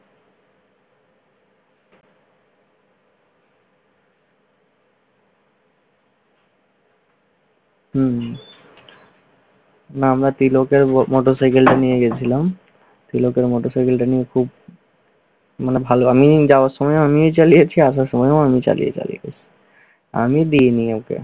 না আমরা তিলকের ম~ মটর সাইকেলটা নিয়ে গেছিলাম। তিলকের মটর সাইকেলটা নিয়ে খুব মানে ভালোভাবেই যাওয়ার সময়ও আমিই চালিয়েছি আসার সময়ও আমিই চালিয়ে চালিয়ে এসেছি। আমি দেইনি ওকে।